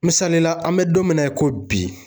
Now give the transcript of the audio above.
Misali la an bɛ don min na i ko bi